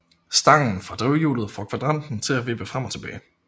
Stangen fra drivhjulet får kvadranten til at vippe frem og tilbage